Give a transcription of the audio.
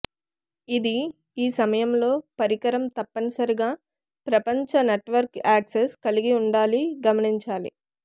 ఇది ఈ సమయంలో పరికరం తప్పనిసరిగా ప్రపంచ నెట్వర్క్ యాక్సెస్ కలిగి ఉండాలి గమనించాలి